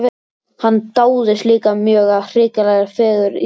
Hann dáðist líka mjög að hrikalegri fegurð Íslands.